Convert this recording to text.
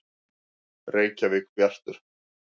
Reykjavík: Bjartur.